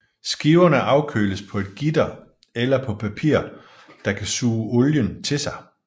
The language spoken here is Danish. Skiverne afkøles på et gitter eller på papir der kan suge olien til sig